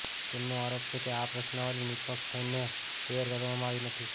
તેમનો આરોપ છે કે આ પ્રશ્નાવલિ નિષ્પક્ષ થઈને તૈયાર કરવામાં આવી નથી